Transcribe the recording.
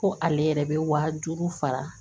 Ko ale yɛrɛ bɛ waa duuru sara